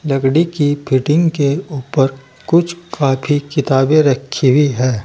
लकड़ी की फिटिंग के ऊपर कुछ कापी किताबें रखी हुई है।